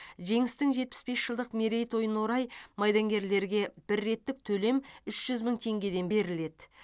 жеңістің жетпіс бес жылдық мерейтойына орай майдангерлерге бір реттік төлем үш жүз мың теңгеден беріледі